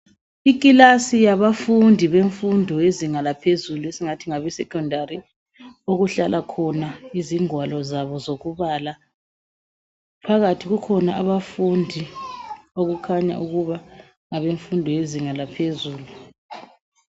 Ikilasi yabafundi bemfundo yezinga laphezulu esingathi ngabeSecondary. Okuhlala khona izingwalo zabo zokubala. Phakathi kukhona abafundi okukhanya ukuba ngabemfundo yezinga laphezulu.